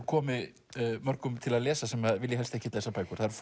komi mörgum til að lesa sem að vilja helst ekkert lesa bækur það eru